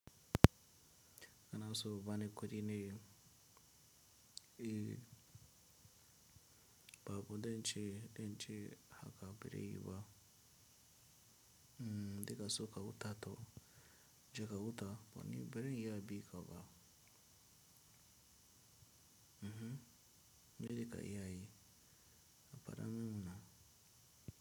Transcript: Anaso ba ni kudi ne ba bu denche, denche, haba bere yiba, deka so kahuta to je kahuta, ni bere iya bi kaba. Mhm, je ka iyayi, ka pada min mana.